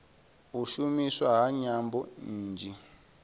u shumiswa ha nyambo nnzhi